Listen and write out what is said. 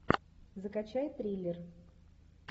закачай триллер